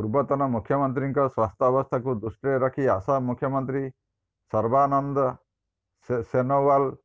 ପୂର୍ବତନ ମୁଖ୍ୟମନ୍ତ୍ରୀଙ୍କ ସ୍ୱାସ୍ଥ୍ୟବସ୍ଥାକୁ ଦୃଷ୍ଟିରେ ରଖି ଆସାମ ମୁଖ୍ୟମନ୍ତ୍ରୀ ସର୍ବାନନ୍ଦ ସୋନୋୱାଲ